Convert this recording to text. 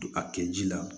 A kɛ ji la